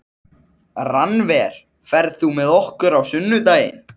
Rannver, ferð þú með okkur á sunnudaginn?